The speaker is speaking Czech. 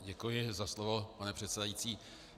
Děkuji za slovo, pane předsedající.